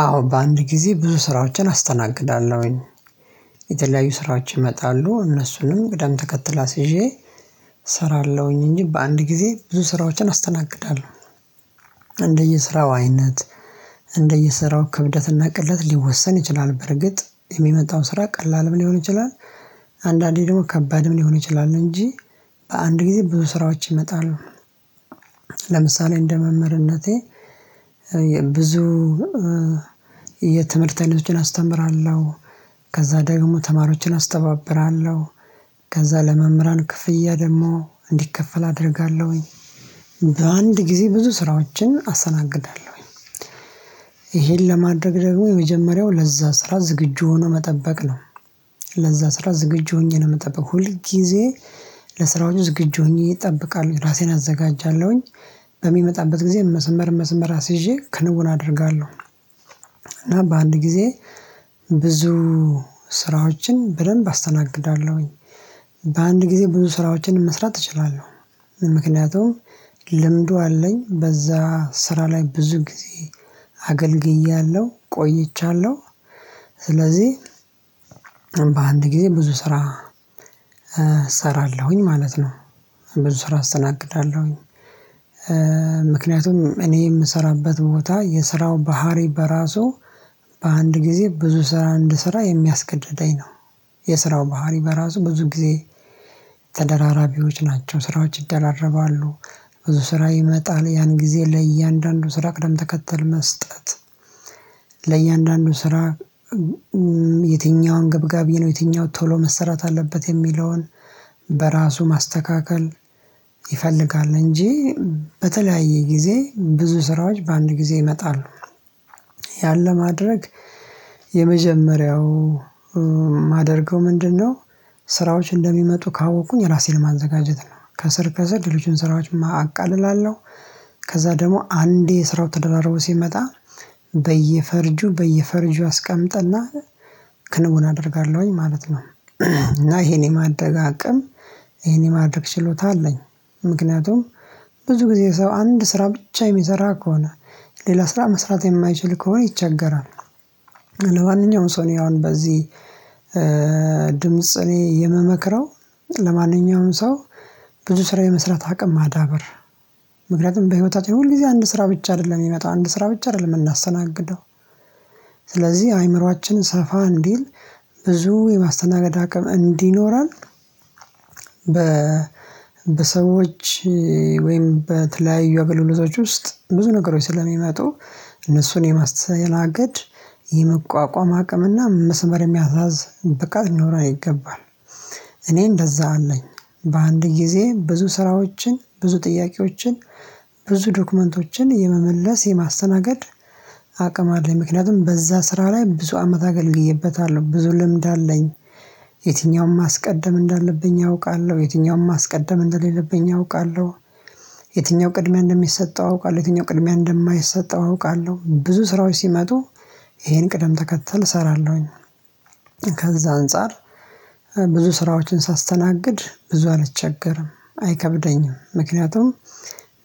አዎ በአንድ ጊዜ ብዙ ስራዎችን አስተናግዳለሁኝ። የተለያዩ ስራዎች ይመጣሉ እነሱንም ቅደም ተከተል አሲዤ እሰራለሁኝ እንጂ በአንድ ጊዜ ብዙ ስራዎችን አስተናግዳለሁ። እንደየስራው አይነት፣ እንደየስራው ክብደትና ቅለት ሊወሰን ይችላል በርግጥ የሚመጣው ስራ ቀላልም ሊሆን ይችላል አንዳንዴ ደግሞ ከባድም ሊሆን ይችላል እንጂ በአንድ ጊዜ ብዙ ስራዎች ይመጣሉ። ለምሳሌ እንደ መምህርነቴ ብዙ የትምህርት አይነቶችን አስተምራለሁ፣ ከዛ ደግሞ ተማሪዎችን አስተባብራለሁ፣ ከዛ ለመምህራን ክፍያ ደግሞ እንዲከፈል አደርጋለሁኝ፣ በአንድ ጊዜ ብዙ ስራዎችን አስተናግዳለሁኝ። ይሄን ለማድረግ ደግሞ የመጀመሪያው ለዛ ስራ ዝግጁ ሆኖ መጠበቅ ነው ለዛ ስራ ዝግጁ ሆኜ ነው የምጠበቅ ሁል ጊዜ ለስራዎቹ ዝግጁ ሆኜ እጠብቃለሁ ራሴን አዘጋጃለሁኝ በሚመጣበት ጊዜ መስመር መስመር አስይዤ ክንዉን አደርጋለሁ። እና በአንድ ጊዜ ብዙ ስራዎችን በደንብ አስተናግዳለሁኝ፣ በአንድ ጊዜ ብዙ ስራዎችን መስራት እችላለሁ። ምክንያቱም ልምዱ አለኝ በዛ ስራ ላይ ብዙ ጊዜ አገልግያለሁ፣ ቆይቻለሁ፣ ስለዚህ በአንድ ጊዜ ብዙ ስራ እሰራለሁኝ ማለት ነው ብዙ ስራ አስተናግዳለሁኝ። ምክንያቱም እኔ የምሰራበት ቦታ የስራው ባህሪ በራሱ በአንድ ጊዜ ብዙ ስራ እንድሰራ የሚያስገድደኝ ነው። የስራው ባህሪ በራሱ ብዙ ጊዜ ተደራራቢዎች ናቸው፣ ስራዎች ይደራረባሉ፣ ብዙ ስራ ይመጣል ያን ጊዜ ለእያንዳንዱ ስራ ቅደም ተከተል መስጠት ለእያንዳንዱ ስራ የትኛው አገብጋቢ ነው የትኛውን ቶሎ መሰራት አለበት የሚለውን በራሱ ማስተካከል ይፈልጋል እንጂ በተለያየ ጊዜ ብዙ ስራዎች በአንድ ጊዜ ይመጣሉ። ያን ለማድረግ የመጀመሪያው ማደርገው ምንድነው ስራዎች እንደሚመጡ ካወቁኝ ራሴን ማዘጋጀት ነው ከስር ከስር ሌሎችን ስራዎች አቃልላለሁ ከዛ ደግሞ አንዴ ስራው ተደራርቦ ሲመጣ በየፈርጁ በየፈርጁ አስቀምጥና ክንውን አደርጋለሁኝ ማለት ነው እና ይሄን የማድረግ አቅም ይሄን የማድረግ ችሎታ አለኝ ምክንያቱም ብዙ ጊዜ ሰው አንድ ስራ ብቻ የሚሰራ ከሆነ ሌላ ስራ መስራት የማይችል ከሆነ ይቸገራል፣ ለማንኛውም ሰው አሁን በዚህ ድምጽ እኔ የምመክረው ለማንኛውም ሰው ብዙ ስራ የመስራት አቅም ማዳበር ምክንያቱም በህይወታችን ሁል ጊዜ አንድ ስራ ብቻ አይደለም የሚመጣው አንድ ስራ ብቻ አይደለም የምናሰናግደው ስለዚህ አእምሮአችን ሰፋ እንዲል ብዙ የማስተናገድ አቅም እንዲኖረን በ በሰዎች ወይም በተለያዩ አገልግሎቶች ውስጥ ብዙ ነገሮች ስለሚመጡ እነሱን የማስተናገድ የመቋቋም አቅምና መስመር የሚያሳዝ ብቃት ሊኖረን ይገባል። እኔ እንደዛ አለኝ በአንድ ጊዜ ብዙ ስራዎችን፣ ብዙ ጥያቄዎችን፣ ብዙ ዶክመንቶችን የመመለስ፣ የማስተናገድ አቅም አለኝ ምክንያቱም በዛ ስራ ላይ ብዙ አመት አገልግዬበታለሁ ብዙ ልምድ አለኝ የትኛውን ማስቀደም እንዳለብኝ አውቃለሁ፣ የትኛውም ማስቀደም እንደሌለብኝ አውቃለሁ፣ የትኛው ቅድሚያ እንደሚሰጠው አውቃለሁ፣ የትኛው ቅድሚያ እንደማይሰጠው አውቃለሁ፣ ብዙ ስራዎች ሲመጡ ይሄን ቅደም ተከተል እሰራለሁኝ። ከዛ አንፃር ብዙ ስራዎችን ሳስተናግድ ብዙ አልቸገርም፣ አይከብደኝም ምክንያቱም